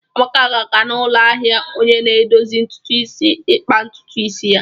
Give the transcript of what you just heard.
Amaka ga-aga n'ụlọ ahịa onye na-edozi ntutu isi ikpa ntutu isi ya.